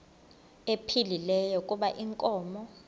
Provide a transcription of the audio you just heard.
ephilile kuba inkomo